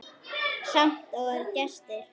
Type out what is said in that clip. Samt voru engir gestir.